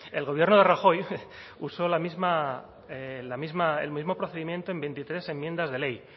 el gobierno de rajoy usó la misma el mismo procedimiento en veintitrés enmiendas de ley